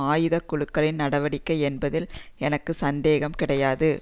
ஆயுத குழுக்களின் நடவடிக்கை என்பதில் எனக்கு சந்தேகம் கிடையாது